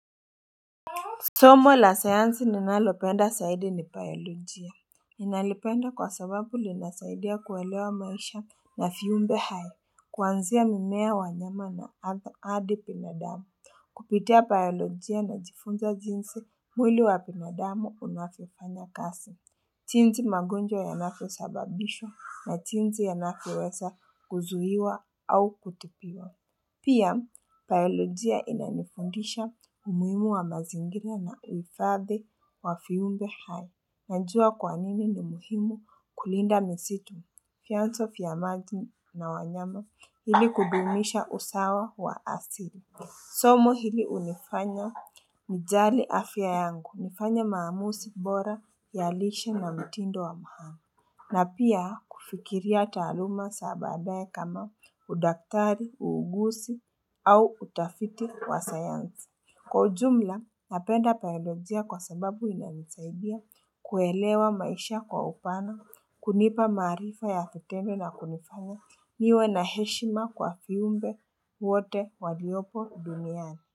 Somo la sayansi ninalopenda zaidi ni biolojia. Ninalipenda kwa sababu linasaidia kuelewa maisha na viumbe hai. Kuanzia mimea wanyama na adi binadamu. Kupitia biolojia najifunza jinsi mwili wa binadamu unavyofanya kazi jinsi magonjwa yanavyosababishwa na jinsi yanavyoweza kuzuiwa au kutibiwa. Pia, biolojia inanifundisha umuhimu wa mazingira na uhifadhi wa viumbe hai. Najua kwa nini ni muhimu kulinda misitu. Vianso vya maji na wanyama ili kudumisha usawa wa asili. Somo hili hunifanya nijali afya yangu. Nifanye maamuzi bora ya lishe na mtindo wa maana na pia kufikiria taaluma sa baadaye kama udaktari, uuguzi au utafiti wa sayansi Kwa ujumla, napenda biolojia kwa sababu inanisaidia kuelewa maisha kwa upana, kunipa maarifa ya vitendo na kunifanya niwe na heshima kwa viumbe wote waliopo duniani.